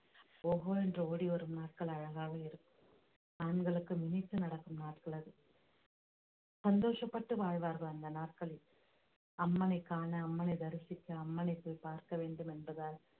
ஓஹோ ஓடி வரும் நாட்கள் அழகாக இருக்கும் ஆண்களுக்கு நினைத்து நடக்கும் நாட்கள் அது சந்தோஷப்பட்டு வாழ்வார்கள் அந்த நாட்களில் அம்மனைக் காண அம்மனை தரிசிக்க அம்மனை போய் பார்க்க வேண்டும் என்பதால்